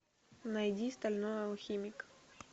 найди стальной алхимик